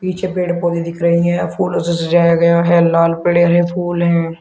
पीछे पेड़ पौधे दिख रहे हैं फूलों से सजाया गया है लाल पड़े हैं फूल हैं।